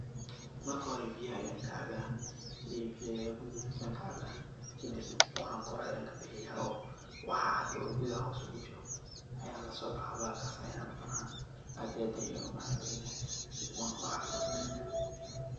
Marka hore biyaha ayan kacaba, biyaha gudaha kujira ayan kacaba kadib wxan kore ayan kabixiya oo waxa cad oo gudaha hose ogujiro ayan lasobaxa bahalkas ayana cuna aad iyo aad ayu umacan badanyahay wuna uu cafimad badanyahay